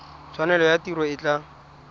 tshwanelo ya tiro e tla